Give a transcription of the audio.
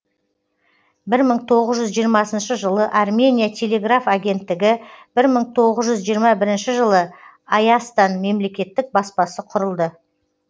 бір мың тоғыз жүз жиырмасыншы жылы армения телеграф агенттігі бір мың тоғыз жүз жиырма бірінші жылы айастан мемлекеттік баспасы құрылды